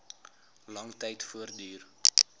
lang tyd voortduur